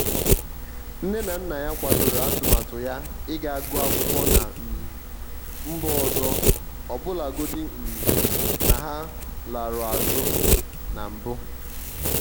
nne na nna ya kwadoro atụmatụ ya iga guọ akwụkwọ na um mba ọzọọbụlagodi um na ha larụ azụ na mbụ.